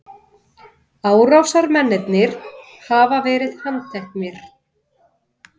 Árásarmennirnir hafa verið handteknir